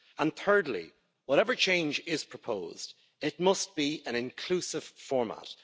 And thirdly, whatever change is proposed, it must be an inclusive format.